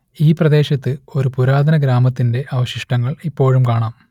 ഈ പ്രദേശത്ത് ഒരു പുരാതന ഗ്രാമത്തിന്റെ അവശിഷ്ടങ്ങൾ ഇപ്പോഴും കാണാം